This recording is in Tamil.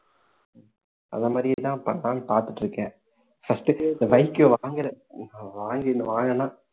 அந்த மாதிரி எல்லாம் பண்ணலாம்ன்னு பார்த்துட்டு இருக்கேன் first இந்த bike வாங்குறேன் வாங்கிட்டு வாங்கன்னா